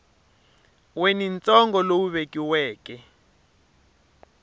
we ni ntsengo lowu vekiweke